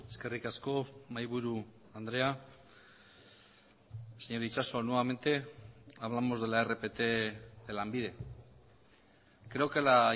eskerrik asko mahaiburu andrea señor itxaso nuevamente hablamos de la rpt de lanbide creo que la